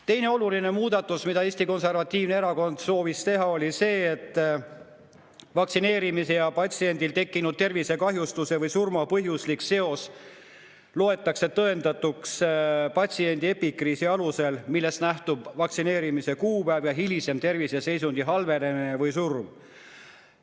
Teine oluline muudatus, mida Eesti Konservatiivne erakond soovis teha, oli see, et vaktsineerimise ja patsiendil tekkinud tervisekahjustuse või surma põhjuslik seos loetakse tõendatuks patsiendi epikriisi alusel, millest nähtub vaktsineerimise kuupäev ja hilisem terviseseisundi halvenemine või surm.